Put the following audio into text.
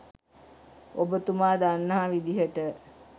ඔබතුමා දන්නා විදියට